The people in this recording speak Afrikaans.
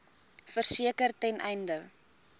verseker ten einde